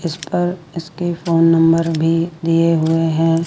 इस पर इसके फोन नंबर भी दिए हुए हैं।